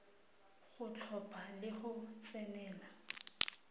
go tlhopha le go tsenela